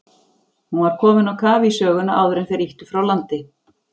Hún var komin á kaf í söguna áður en þeir ýttu frá landi.